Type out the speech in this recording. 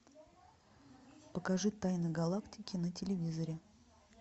покажи тайны галактики на телевизоре